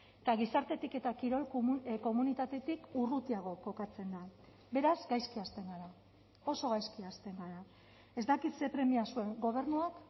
eta gizartetik eta kirol komunitatetik urrutiago kokatzen da beraz gaizki hasten gara oso gaizki hasten gara ez dakit ze premia zuen gobernuak